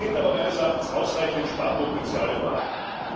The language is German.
Es sind aber meines Erachtens ausreichend Sparpotenziale vorhanden.